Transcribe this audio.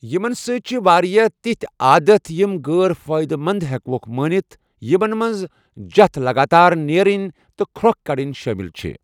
یمن سۭتۍ چھِ واریاہ تِتھۍ عادت یِم غیر فٲیدٕ منٛد ہیکوکھ مٲنِتھ، یِمن منٛز جتھ لگاتار نیرٕنی تہٕ کھرۄکھ کڑٕنۍ شٲمِل چھِ۔